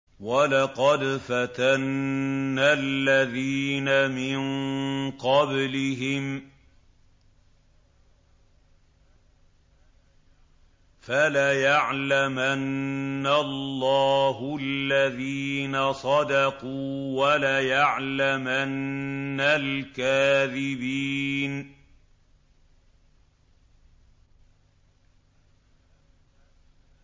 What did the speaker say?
وَلَقَدْ فَتَنَّا الَّذِينَ مِن قَبْلِهِمْ ۖ فَلَيَعْلَمَنَّ اللَّهُ الَّذِينَ صَدَقُوا وَلَيَعْلَمَنَّ الْكَاذِبِينَ